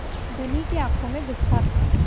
धनी की आँखों में गुस्सा था